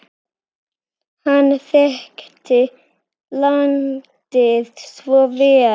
Hann þekkti landið svo vel.